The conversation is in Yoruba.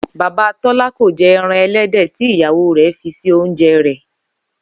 Bàbá Tó̩lá kò je̩ e̩ran e̩lédè̩ tí ìyàwó rè̩ fi sí oúnje̩ rè̩